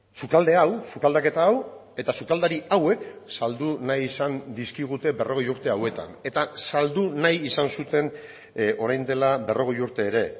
sukalde hau sukaldaketa hau eta sukaldari hauek saldu nahi izan dizkigute berrogei urte hauetan eta saldu nahi izan zuten orain dela berrogei urte ere